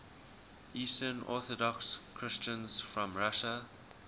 eastern orthodox christians from russia